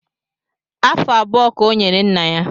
Afụ abụọ ka ọ nyere nna ya